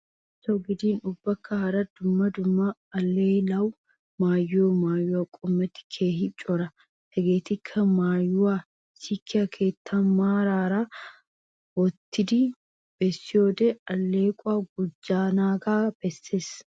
Bullachawu giddin ubbakka hara dumma dumma alaalliyawu maayiyo mayuwa qommoti keehi cora. Hegetikka mayuwaa sikkiyo keettan maaran maaran wottidi bessiyode alleqquwa gujjanagga besses.